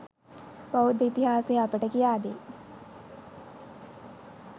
බෞද්ධ ඉතිහාසය අපට කියාදෙයි.